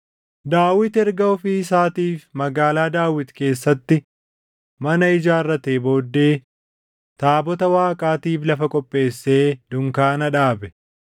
Daawit erga ofii isaatiif Magaalaa Daawit keessatti mana ijaarratee booddee taabota Waaqaatiif lafa qopheessee dunkaana dhaabe.